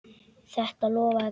Þetta lofaði góðu.